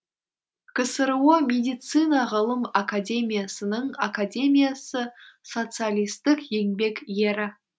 ксро медицина ғылым академиясының академиясы социалистік еңбек ері